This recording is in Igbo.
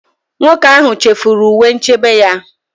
Nwoke ahụ chefuru uwe nchebe ya.